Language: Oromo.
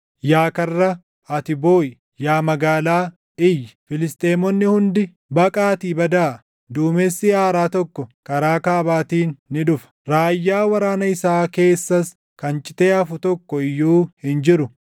Yaa karra, ati booʼi! Yaa magaalaa, iyyi! Filisxeemonni hundi baqaatii badaa! Duumessi aaraa tokko karaa kaabaatiin ni dhufa; raayyaa waraana isaa keessas kan citee hafu tokko iyyuu hin jiru.